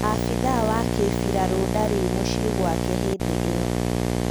Abĩthaa wa kimbirarũ ndarĩ mũciĩ gwake hĩndĩ ĩyo